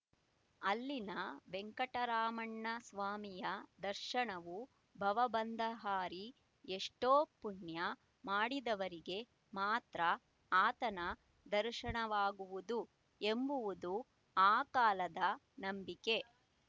ಅಲ್ಲಿನ ವೆಂಕಟರಮಣಸ್ವಾಮಿಯ ದರ್ಶನವೂ ಭವಬಂಧಹಾರಿ ಎಷ್ಟೋ ಪುಣ್ಯ ಮಾಡಿದವರಿಗೆ ಮಾತ್ರ ಆತನ ದರ್ಶನವಾಗುವುದು ಎಂಬುವುದು ಆ ಕಾಲದ ನಂಬಿಕೆ